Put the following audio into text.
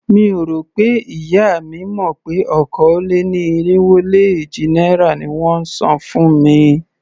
Mi ò rò pé ìyá mi mọ̀ pé okòó-lé-ní-irínwó-lé-éjì náírà ni wón ń san fún mi.